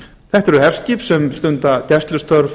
þetta eru herskip sem stunda gæslustörf